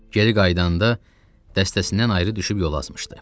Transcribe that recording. Geri qayıdanda dəstəsindən ayrı düşüb yol azmışdı.